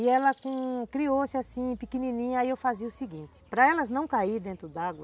E ela criou-se assim, pequenininha, aí eu fazia o seguinte, para elas não caírem dentro d'água.